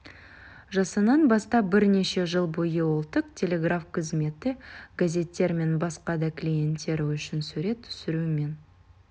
жасынан бастап бірнеше жыл бойы ұлттық телеграф қызметі газеттер мен басқа да клиенттер үшін сурет түсірумен